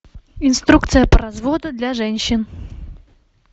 инструкция по разводу для женщин